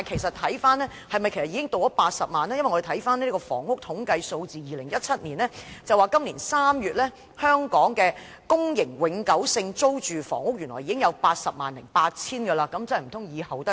我們翻看2017年的房屋統計數字，資料顯示，今年3月，香港的公營永久性租住房屋原來已有 808,000 個。